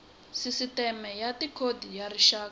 sisiteme ya tikhodi ya rixaka